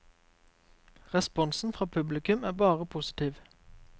Responsen fra publikum er bare positiv.